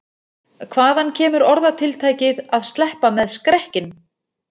Hvaðan kemur orðatiltækið að sleppa með skrekkinn?